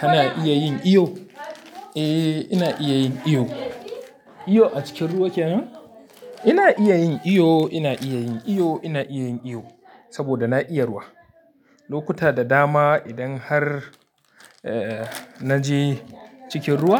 Kana iya yin iyo? Eh, ina iya yin iyo. Iyo a cikin ruwa kenan? Ina iya yin iyo, ina iya yin iyo, ina iya yin iyo saboda na iya ruwa. Lokuta da dama idan har eh naje cikin ruwa